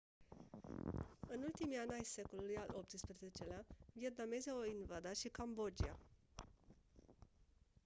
în ultimii ani ai secolului al xviii-lea vietnamezii au invadat și cambodgia